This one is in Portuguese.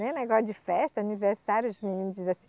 Nem negócio de festa, aniversário, os meninos dizem assim.